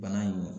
Bana in